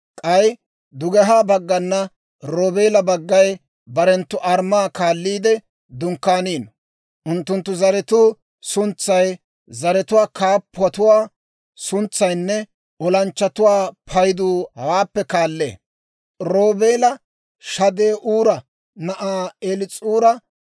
«K'ay dugehaa baggana Roobeela baggay barenttu armmaa kaalliide dunkkaanino. Unttunttu zaratuu suntsay, zaratuwaa kaappatuwaa suntsaynne olanchchatuwaa paydu hawaappe kaallee: Roobeela Shade'uura na'aa Eliis'uura 46,500;